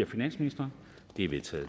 af finansministeren de er vedtaget